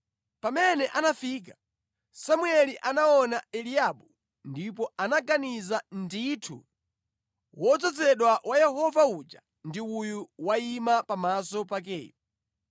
Pamene anafika, Samueli anaona Eliabu ndipo anaganiza “Ndithu wodzozedwa wa Yehova uja ndi uyu wayima pamaso pakeyu.”